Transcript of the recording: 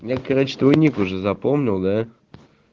я короче твой ник уже запомнил да